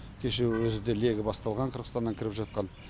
кеше өзі де легі басталған қырғызстаннан кіріп жатқан